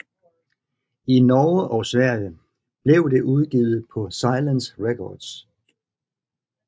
I Norge og Sverige blev det udgivet på Silence Records